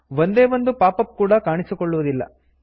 ಒಂದೇ ಒಂದು pop up ಕೂಡ ಕಾಣಿಸಿಕೊಳ್ಳುವುದಿಲ್ಲ